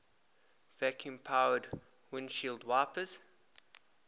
vacuum powered windshield wipers